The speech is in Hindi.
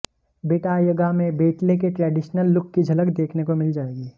बेंटायगा में बेंटले के ट्रेडिशनल लुक की झलक देखने को मिल जाएगी